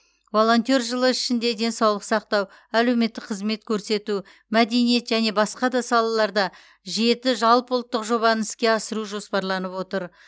волонтер жылы ішінде денсаулық сақтау әлеуметтік қызмет көрсету мәдениет және басқа да салаларда жеті жалпыұлттық жобаны іске асыру жоспарланып отыр